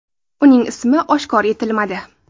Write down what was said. Uning ismi oshkor etilmadi.